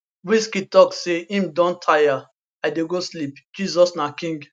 wizkid tok say im don tire i dey go sleep jesus na king